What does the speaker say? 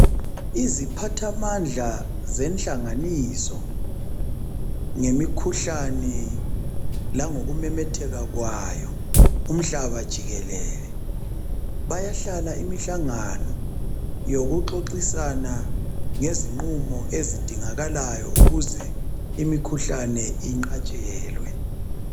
Iziphathamandla zenhlanganiso ngemikhuhlane langokumemetheka kwayo umhlaba jikelele. Bayahlala imihlangano yokuxoxisana ngezinqumo ezidingakalayo ukuze imikhuhlane inqatshelwe.